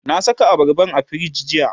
na Saka abarban a firij jiya